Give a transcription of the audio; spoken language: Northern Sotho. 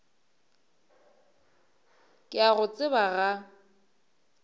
ke a go tseba ga